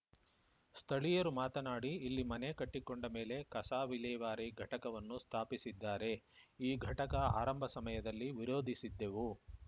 ಸ್ಥಳೀಯರು ಮಾತನಾಡಿ ಇಲ್ಲಿ ಮನೆ ಕಟ್ಟಿಕೊಂಡ ಮೇಲೆ ಕಸ ವಿಲೇವಾರಿ ಘಟಕವನ್ನು ಸ್ಥಾಪಿಸಿದ್ದಾರೆ ಈ ಘಟಕ ಆರಂಭ ಸಮಯದಲ್ಲಿ ವಿರೋಧಿಸಿದ್ದೆವು